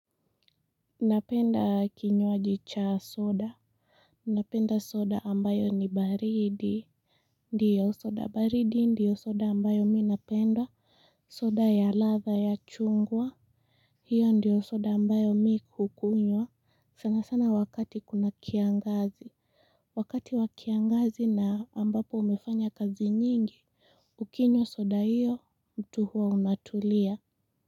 Napenda kinywaji cha soda. Napenda soda ambayo ni baridi. Ndiyo soda baridi ndiyo soda ambayo mimi napenda. Soda ya ladha ya chungwa hiyo ndiyo soda ambayo mimi hukunywa sana sana wakati kuna kiangazi. Wakati wa kiangazi na ambapo umefanya kazi nyingi ukinywa soda hiyo mtu huwa unatulia.